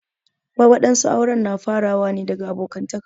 Wadansu aure na fara ne daga abokantaka.